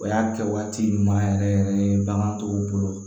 O y'a kɛ waati ɲuman yɛrɛ yɛrɛ yɛrɛ ye bagan tɔw bolo